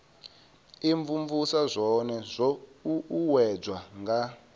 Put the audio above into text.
imvumvusa zwone zwo uuwedzwa nga